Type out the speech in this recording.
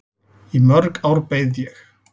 Í mörg ár beið ég.